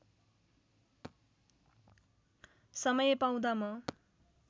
समय पाउँदा म